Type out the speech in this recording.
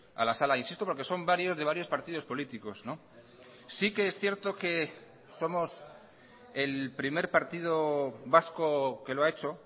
a la sala insisto porque son varios de varios partidos políticos sí que es cierto que somos el primer partido vasco que lo ha hecho